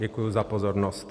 Děkuji za pozornost.